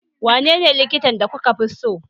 Wanene likitan da kuka fi so?